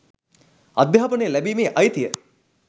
අධ්‍යාපනය ලැබීමේ අයිතිය